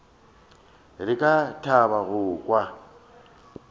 re ka thaba go kwa